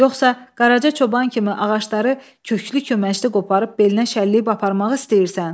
Yoxsa Qaraca çoban kimi ağacları köklü-köməçli qoparıb belinə şəlləyib aparmaq istəyirsən?